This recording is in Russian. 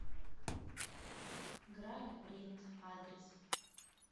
грани принт адрес